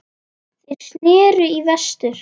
Þeir sneru í vestur.